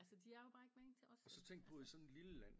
Altså de er jo bare ikke magen til os vel altså